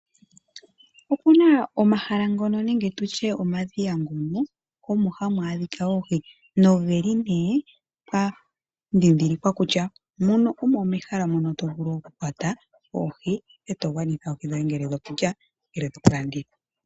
Opuna omahala ngono nenge tu tye omadhiya ngono mono hamu adhikwa oohi noge li nee pwa dhidhilikwa kutya muno omo mehala mono to vulu oku kwata oohi eto gwanitha oohi dhoye ngele dhokulya nenge to kalanditha.